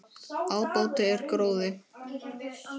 Ábati er gróði.